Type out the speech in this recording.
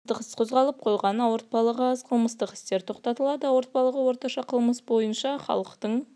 оның айтуынша қылмыстық іс қозғалып қойған ауыртпалығы аз қылмыстық істер тоқтатылады ауыртпалығы орташа қылмыс бойынша халықтың